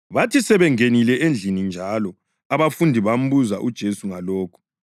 Bathi sebengenile endlini njalo, abafundi bambuza uJesu ngalokhu.